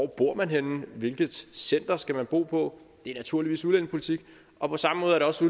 bor henne og hvilket center man skal bo på naturligvis er udlændingepolitik og på samme måde er det også